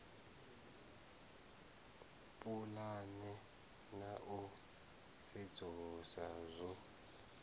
pulana na u sedzulusa zwo